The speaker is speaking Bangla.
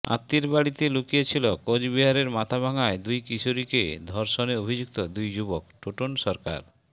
আত্মীয়ের বাড়িতে লুকিয়ে ছিল কোচবিহারের মাথাভাঙায় দুই কিশোরীকে ধর্ষণে অভিযুক্ত দুই যুবক টোটন সরকার